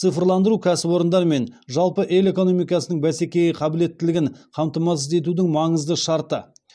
цифрландыру кәсіпорындар мен жалпы ел экономикасының бәсекеге қабілеттілігін қамтамасыз етудің маңызды шарты